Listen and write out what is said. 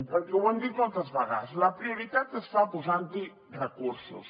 perquè ho hem dit moltes vegades la prioritat es fa posant hi recursos